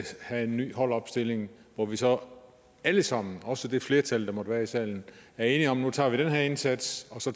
have en ny holdopstilling og hvor vi så alle sammen også det flertal der måtte være i salen er enige om at nu tager vi den her indsats og så